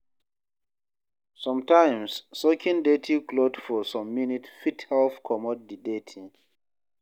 Sometimes, soaking dirty cloth for some minutes fit help comot di dirty